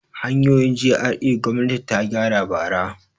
Hanyoyin GRA gwamnati ta gyara bara.